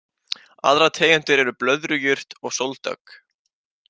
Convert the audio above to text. Aðrar tegundir eru blöðrujurt og sóldögg.